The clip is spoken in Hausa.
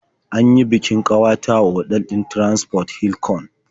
An yi bikin ƙawata a otal ɗin Transcorp Hilton.